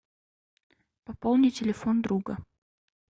пополни телефон друга